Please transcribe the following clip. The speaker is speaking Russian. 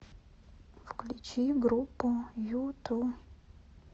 включи группу юту